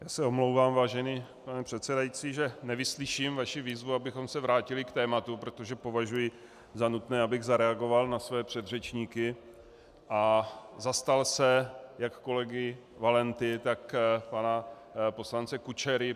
Já se omlouvám, vážený pane předsedající, že nevyslyším vaši výzvu, abychom se vrátili k tématu, protože považuji za nutné, abych zareagoval na své předřečníky a zastal se jak kolegy Valenty, tak pana poslance Kučery.